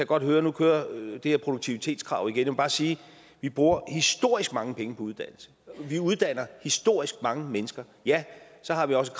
godt høre at nu kører det her produktivitetskrav igen jeg må bare sige at vi bruger historisk mange penge på uddannelse vi uddanner historisk mange mennesker ja så har vi også